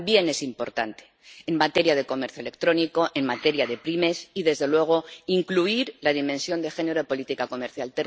También es importante en materia de comercio electrónico, en materia de pymes y desde luego, para incluir la dimensión de género en política comercial.